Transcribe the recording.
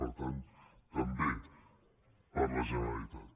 per tant també per a la generalitat